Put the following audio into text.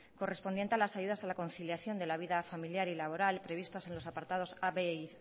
correspondiente a las ayudas a la conciliación de la vida familiar y laboral previstas en los apartados a b y